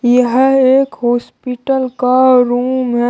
यह एक हॉस्पिटल का रूम है।